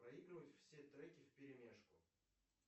проигрывать все треки вперемешку